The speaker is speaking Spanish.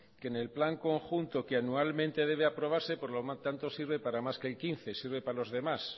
que en el plan conjunto que anualmente debe aprobarse por lo tanto sirve para más que el quince sirve para los demás